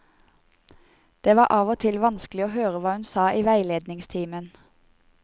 Det var av og til vanskelig å høre hva hun sa i veiledningstimen.